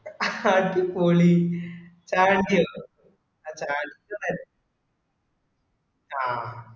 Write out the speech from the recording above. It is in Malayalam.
അടിപൊളി thank you ട്ടൊ അല്ക്കന്നേൽ ആ